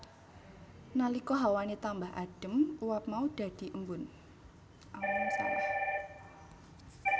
Nalika hawane tambah adem uap mau dadhi embun